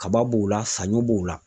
Kaba b'o la, saɲɔ b'o la .